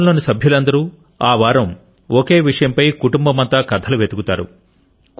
కుటుంబం లోని సభ్యులందరూ ఆ వారం ఒకే విషయంపై కుటుంబమంతా కథలు వెతుకుతారు